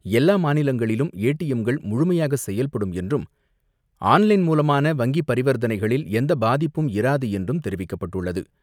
எல்லா மாநிலங்களிலும் ஏடிஎம்கள் முழுமையாக செயல்படும் என்றும், ஆன் லைன் மூலமான வங்கிப் பரிவர்த்தனைகளில் எந்த பாதிப்பும் இராது என்றும் தெரிவிக்கப்பட்டுள்ளது.